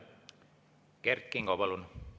Kert Kingo, palun!